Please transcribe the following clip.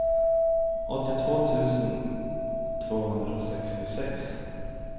åttiotvå tusen tvåhundrasextiosex